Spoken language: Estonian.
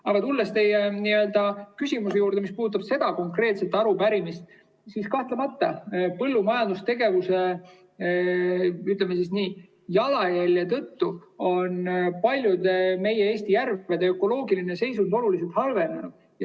Aga tulles teie küsimuse juurde, mis puudutab seda konkreetset arupärimist, siis kahtlemata, põllumajandustegevuse, ütleme, jalajälje tõttu on paljude Eesti järvede ökoloogiline seisund oluliselt halvenenud.